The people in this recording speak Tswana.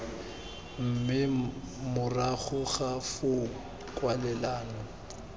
mme morago ga foo kwalelano